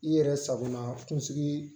I yɛrɛ sakunasigi